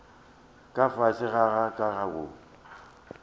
ka fase ga ka go